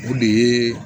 O de ye